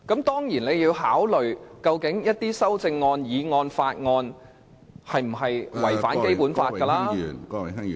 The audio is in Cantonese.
當然，你還要考慮有關的修正案、議案和法案有否違反《基本法》......